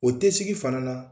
O sigi fana na